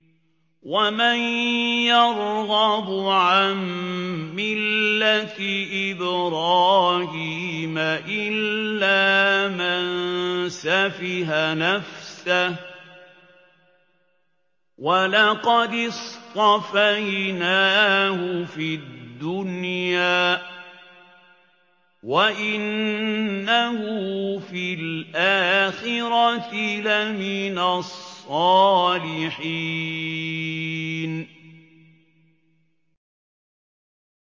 وَمَن يَرْغَبُ عَن مِّلَّةِ إِبْرَاهِيمَ إِلَّا مَن سَفِهَ نَفْسَهُ ۚ وَلَقَدِ اصْطَفَيْنَاهُ فِي الدُّنْيَا ۖ وَإِنَّهُ فِي الْآخِرَةِ لَمِنَ الصَّالِحِينَ